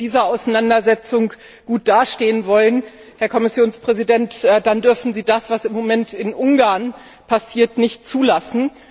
Wenn Sie in dieser Auseinandersetzung gut dastehen wollen, Herr Kommissionspräsident, dann dürfen Sie das, was im Moment in Ungarn passiert, nicht zulassen.